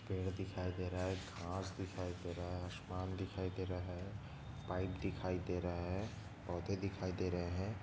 पेड़ दिखाई दे रहा है घास दिखाई दे रहा है आसमान दिखाई दे रहा है पाईप दिखाई दे रहा है पौधे दिखाई दे रहे है।